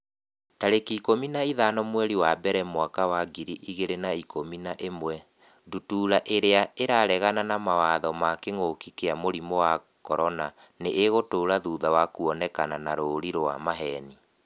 tarĩki ikũmi na ithano mweri wa mbere mwaka wa ngiri igĩrĩ na ikũmi na ĩmwe Ndutura irĩa 'ĩraregana na mawatho ma kĩngũki kia mũrimũ wa CORONA nĩ ĩgũtũra thutha wa kuonekana na rũũri rwa maheeni.